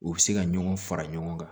U bɛ se ka ɲɔgɔn fara ɲɔgɔn kan